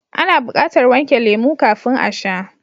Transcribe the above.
Ana bukatar wanke lemo kafin a sha.